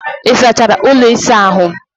Ị sachara ụlọ ịsa ahụ?